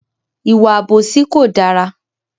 Ìwà àbòsí kò dára.